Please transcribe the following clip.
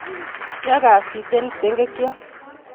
ye kasik kiptengekyo